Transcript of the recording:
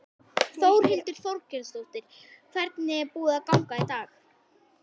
Þórhildur Þorkelsdóttir: Hvernig er búið að ganga í dag?